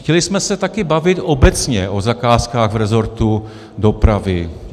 Chtěli jsme se také bavit obecně o zakázkách v rezortu dopravy.